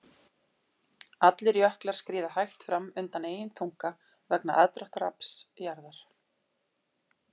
Allir jöklar skríða hægt fram undan eigin þunga vegna aðdráttarafls jarðar.